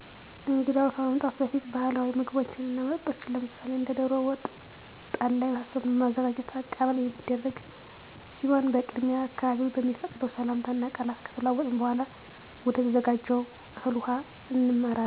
እንግዳው ከመምጣቱ በፊት ባህላዊ ምግቦችን እና መጠጦችን ለምሳሌ እንደ ደሮ ወጥ እና ጠላ የመሳሰሉትን በማዘጋጅ አቀባበል የሚደረግ ሲሆን በቅድሚያ አካባቢዉ በሚፈቅደው ሰላምታ እና ቃላት ከተለዋወጥን በኃላ ወደተዘጋጀው እህል ውሃ እናመራለን።